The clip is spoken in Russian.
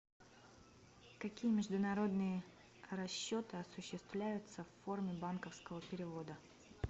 какие международные расчеты осуществляются в форме банковского перевода